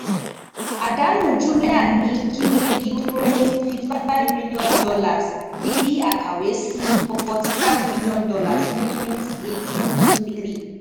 àdánù Jumia ni Q3 duro ni fifty-five million dollars, bi akawe si forty five million dollars ni twenty eighteen Q3.